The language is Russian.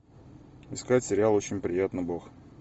искать сериал очень приятно бог